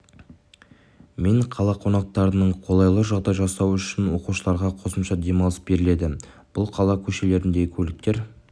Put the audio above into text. мен қала қонақтарының қолайлы жағдай жасау үшін оқушыларға қосымша демалыс беріледі бұл қала көшелеріндегі көліктер